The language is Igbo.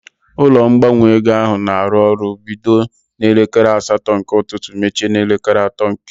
Ụlọ ngbanwe ego ahụ na arụ ọrụ bido n'elekere asatọ nke ụtụtụ mechie n'elekere atọ nke ehihie